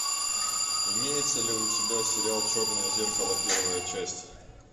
имеется ли у тебя сериал черное зеркало первая часть